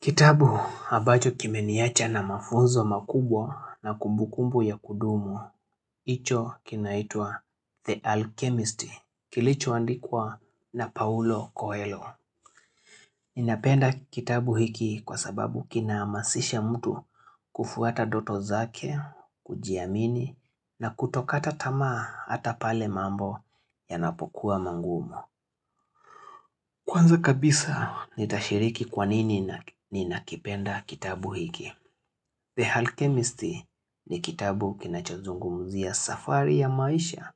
Kitabu ambacho kimeniacha na mafunzo makubwa na kumbukumbu ya kudumu, hicho kinaitwa The Alchemist, kilichoandikwa na Paulo Coelho. Ninapenda kitabu hiki kwa sababu kinahamasisha mtu kufuata ndoto zake, kujiamini na kutokata tamaa hata pale mambo yanapokuwa magumu. Kwanza kabisa nitashiriki kwanini ninakipenda kitabu hiki. The Alchemist ni kitabu kinachozungumzia safari ya maisha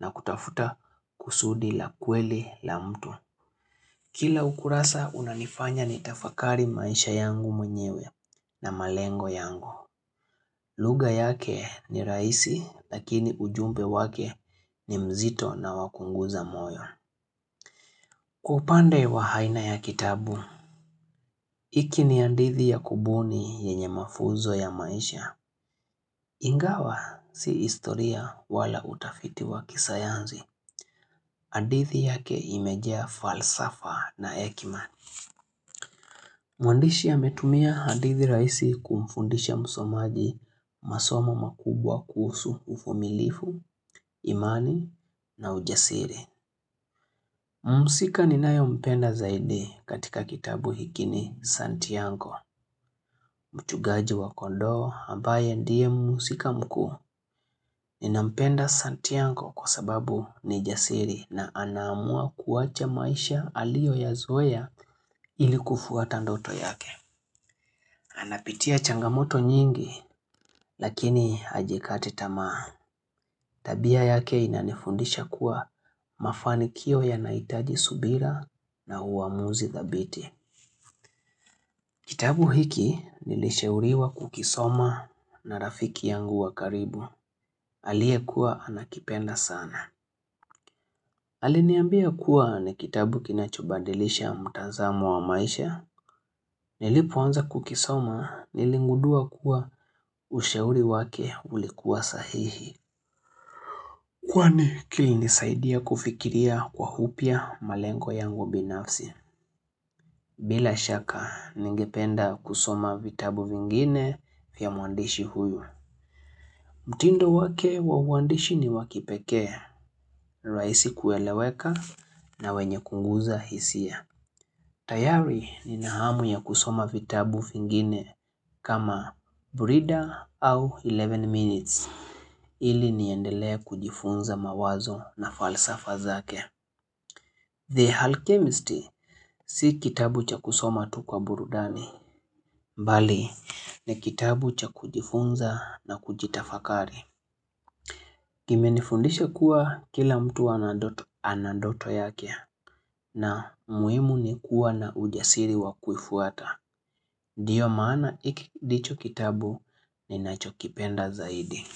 na kutafuta kusudi la kweli la mtu. Kila ukurasa unanifanya nitafakari maisha yangu mwenyewe na malengo yangu. Luga yake ni rahisi lakini ujumbe wake ni mzito na wa kuunguza moyo. Kwa upande wa aina ya kitabu. Hiki ni hadithi ya kubuni yenye mafuzo ya maisha. Ingawa si historia wala utafiti wa kisayanzi. Hadithi yake imejaa falsafa na hekima. Mwandishi ametumia hadithi rahisi kumfundisha msomaji masoma makubwa kuhusu uvumilivu, imani na ujasiri. Mhusika ninayompenda zaidi katika kitabu hiki ni Santiago. Mchungaji wa kondoo ambaye ndiye mhusika mkuu ninampenda Santiago kwa sababu ni jasiri na anaamua kuacha maisha aliyoyazoea ili kufuata ndoto yake. Anapitia changamoto nyingi lakini ajikati tamaa. Tabia yake inanifundisha kuwa mafanikio yanahitaji subira na uamuzi thabiti. Kitabu hiki nilishauriwa kukisoma na rafiki yangu wa karibu. Aliyekuwa anakipenda sana. Aliniambia kuwa ni kitabu kinachobadilisha mtazamo wa maisha. Nilipoanza kukisoma niligundua kuwa ushauri wake ulikuwa sahihi. Kwani kilinisaidia kufikiria kwa upya malengo yangu binafsi. Bila shaka ningependa kusoma vitabu vingine vya mwandishi huyu. Mtindo wake wa uandishi ni wa kipekee, rahisi kueleweka na wenye kuguza hisia. Tayari nina hamu ya kusoma vitabu vingine kama breeder au 11 minutes. Ili niendelea kujifunza mawazo na falsafa zake. The Alchemist si kitabu cha kusoma tu kwa burudani. Mbali ni kitabu cha kujifunza na kujitafakari. Kimenifundisha kuwa kila mtu ana ndoto yake na muhimu ni kuwa na ujasiri wa kuifuata. Ndio maana hiki ndicho kitabu ninachokipenda zaidi.